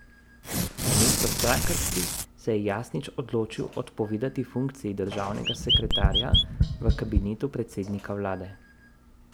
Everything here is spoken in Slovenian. Namesto strankarski se je Jasnič odločil odpovedati funkciji državnega sekretarja v kabinetu predsednika vlade.